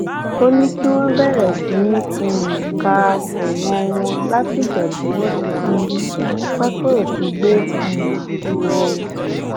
ó ní kí wọn bẹrẹ sí í um ka ẹwọn wọn látìgbà tí wọn ti fi pápẹ òfin gbé um wọn